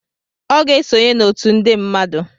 Ọ ga-esonye n'otu nde mmadụ